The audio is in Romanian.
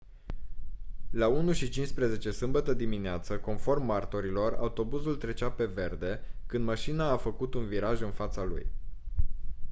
la 01:15 sâmbătă dimineață conform martorilor autobuzul trecea pe verde când mașina a făcut un viraj în fața lui